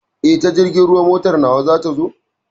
Eh, ta jirgin ruwa motar ta wa za ta zo?